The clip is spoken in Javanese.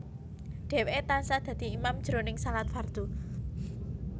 Dhèwèké tansah dadi imam jroning shalat fardhu